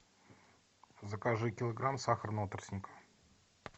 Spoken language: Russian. закажи килограмм сахарного тростника